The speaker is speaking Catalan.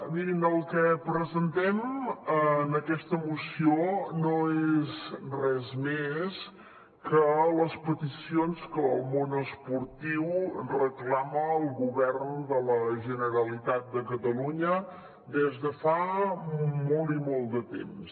mirin el que presentem en aquesta moció no és res més que les peticions que el món esportiu reclama al govern de la generalitat de catalunya des de fa molt i molt de temps